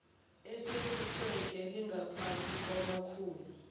esephuceke lingaphansi kwamakhulu